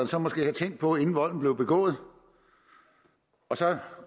så måske have tænkt på inden volden blev begået og så